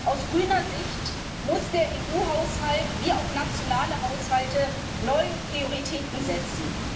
Aus grüner Sicht muss der EU Haushalt wie auch nationale Haushalte neue Prioritäten setzen.